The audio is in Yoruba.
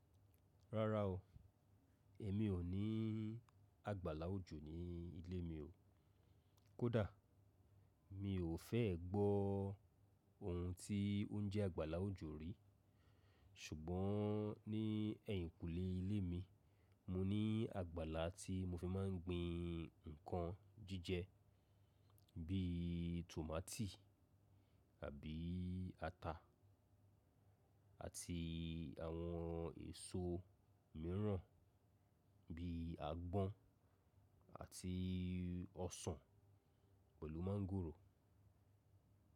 Rárá o, èmi ò ní àgbàlá òjò ní ilé mi o. Kódà mi ò fẹ́ gbọ́ ohun tí ó ń jẹ́ àgbàlá òjò rí. Ṣùgbọ́n ní ẹ̀yìnkùlé ilé mi, mo ní àgbàlá tí mo fi máa ń gbin ǹkan jíjẹ bí i tòmátì àbí ata àti àwọn èso mìíràn bíi àgbọn àti ọsàn pẹ̀lú mángòrò.